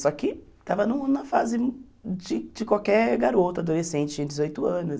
Só que estava no na fase de de qualquer garoto, adolescente, tinha dezoito anos.